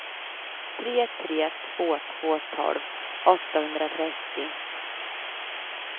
tre tre två två tolv åttahundratrettio